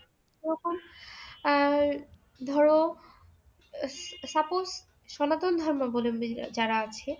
ওরকম আর ধরো আহ suppose সনাতন ধর্ম বলে যারা আছে